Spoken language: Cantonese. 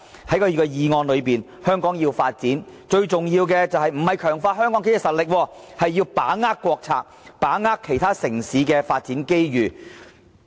他的議案提到，如果香港要發展，最重要的不是強化香港的經濟實力，而是要把握國策和其他城市的發展機遇。